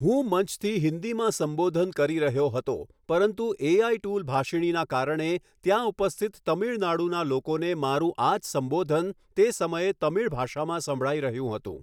હું મંચથી હિન્દીમાં સંબોધન કરી રહ્યો હતો પરંતુ એઆઈ ટૂલ ભાષિણીના કારણે ત્યાં ઉપસ્થિત તમિલનાડુના લોકોને મારું આ જ સંબોધન તે સમયે તમિલ ભાષામાં સંભળાઈ રહ્યું હતું.